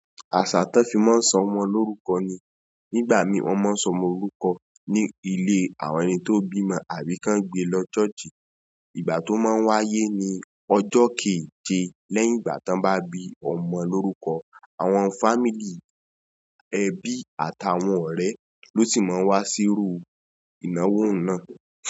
Àṣà tan fi máa ń sọ ọmọ lórúkọ ni, nígbà mií wọ́n máa ń sọ ọmọ lorúkọ ní ilé àwọn ẹni tó bímọ àbí kan gbe lọ church. Ìgbà tó máa ń wáyé ni; ọjọ́ keje lẹ́yìn ìgbà tí wọ́n bá bi ọmọ lórúkọ. Àwọn family, ebí, àt'àwon òré lo si ma n wá siru ìnáwó n na.